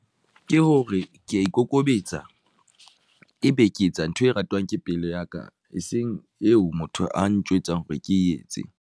Ke hore ke ya ikokobetsa, e be ke etsa ntho e ratwang ke pelo ya ka eseng eo motho a ntjwetsa hore ke etse.